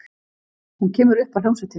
Hún kemur upp að hljómsveitinni.